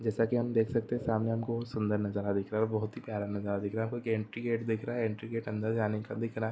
जैसा की हम देख सकते है सामने हमें सुंदर नज़ारा दिख रहा है और बहुत ही प्यारा नज़ारा दिख रहा है एंट्री गेट दिख रहा है एंट्री गेट अंदर जाने क--